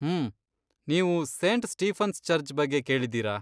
ಹ್ಮ್.. ನೀವು Saint Stephen's church ಬಗ್ಗೆ ಕೇಳಿದ್ದೀರಾ?